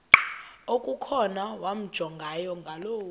okukhona wamjongay ngaloo